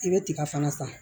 I bɛ tiga fana san